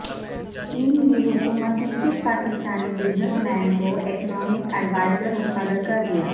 چین کی حکومت نے کس پاکستانی بزنس مین کو اکنامک ایڈوائزر مقرر کردیا